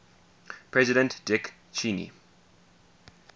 president dick cheney